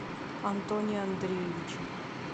антоне андреевиче